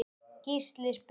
Gísli spyr